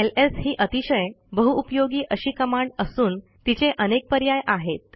LS ही अतिशय बहुउपयोगी अशी कमांड असून तिचे अनेक पर्याय आहेत